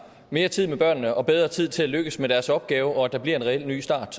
mere tid med børnene og bedre tid til at lykkes med deres opgave og at der bliver en reel ny start